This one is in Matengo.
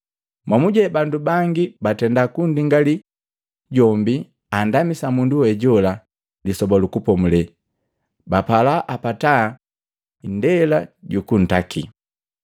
Momuje, bandu bangi batenda kundingali jombi anndamisa mundu we jola Lisoba lu Kupomulela bapala apata ndela jukuntaki.